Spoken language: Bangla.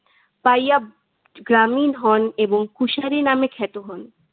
পাইয়াব গ্রামীন হন এবং কুশার খ্যাত হন।